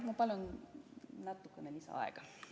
Ma palun natuke lisaaega!